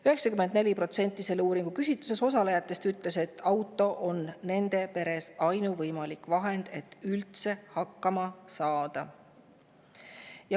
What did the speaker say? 94% selles uuringus osalenutest ütles, et auto on nende peres ainuvõimalik vahend, et üldse hakkama saada.